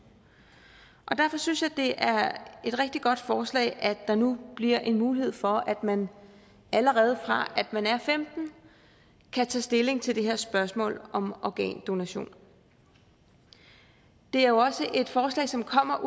derfor synes jeg det er et rigtig godt forslag at der nu bliver en mulighed for at man allerede fra man er femten år kan tage stilling til det her spørgsmål om organdonation det er jo også et forslag som kommer